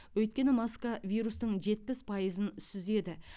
өйткені маска вирустың жетпіс пайызын сүзеді